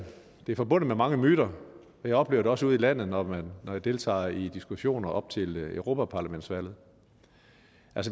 det forbundet med mange myter jeg oplever det også ude i landet når jeg deltager i diskussioner op til europaparlamentsvalget